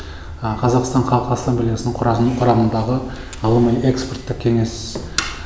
қазақстан халық ассамблеясының құрамындағы ғылыми экспорттық кеңес